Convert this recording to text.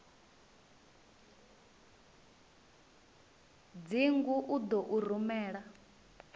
dzingu u ḓo u rumela